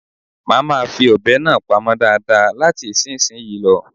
Mà máa fi ọ̀bẹ náà pamọ́ dáadáa láti ìsinsìnyí lọ.